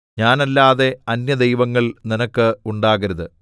ഞാനല്ലാതെ അന്യദൈവങ്ങൾ നിനക്ക് ഉണ്ടാകരുതു